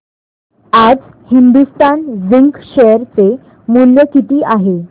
आज Hindustan zinc share चे मूल्य किती आहे